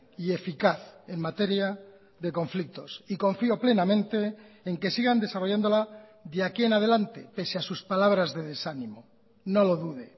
y eficaz en materia de conflictos y confío plenamente en que sigan desarrollándola de aquí en adelante pese a sus palabras de desánimo no lo dude